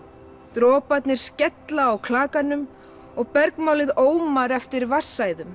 droparnir skella á klakanum og bergmálið Ómar eftir